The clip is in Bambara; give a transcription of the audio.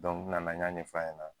n nana n y'a ɲɛ fɔ a ɲɛna.